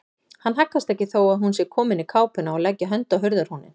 Hann haggast ekki þó að hún sé komin í kápuna og leggi hönd á hurðarhúninn.